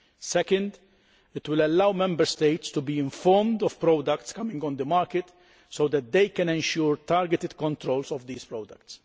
Second, it will allow Member States to be informed of products coming onto the market so that they can ensure targeted controls of these products.